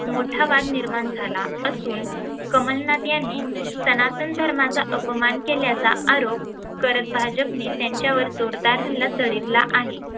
मोठा वाद निर्माण झाला असून कमलनाथ यांनी सनातन धर्माचा अपमान केल्याचा आरोप करत भाजपने त्यांच्यावर जोरदार हल्ला चढविला आहे.